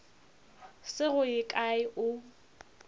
se go ye kae o